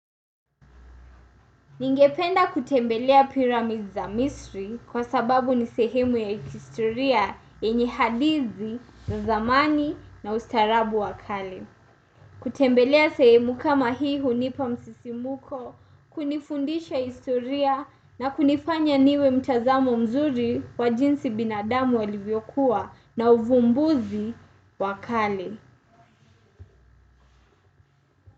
Ningependa kutembelea pyramids za misri kwa sababu ni sehemu ya kistoria yenye hadithi za zamani na ustarabu wakali. Kutembelea sehemu kama hii hunipa msisimuko, kunifundisha historia na kunifanya niwe mtazamo mzuri wa jinsi binadamu walivyokuwa na uvumbuzi wakali.